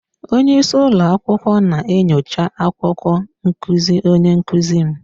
Onye isi ụlọ akwụkwọ na-enyocha akwụkwọ nkuzi onye nkuzi m